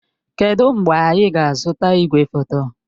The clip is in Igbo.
Kedụ mgbe anyị ga-azụta igwefoto?